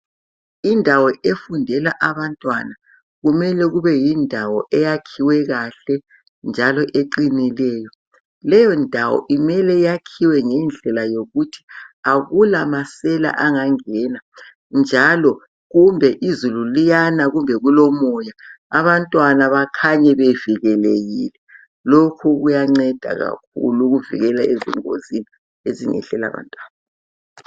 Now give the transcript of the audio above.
Indawo efundela abantwana kumele kube yindawo eyakhiwe kahle njalo eqinileyo. Leyo ndawo kumele yaakhiwe ngendlela yokuthi akula masela angangena njalo izulu liyanaa kumbe kulomoya abantwana bakhanye bevikelekile, lokhu kuyanceda.